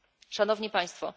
Szanowni Państwo!